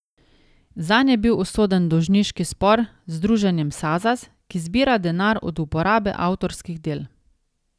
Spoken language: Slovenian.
Zanj je bil usoden dolžniški spor z združenjem Sazas, ki zbira denar od uporabe avtorskih del.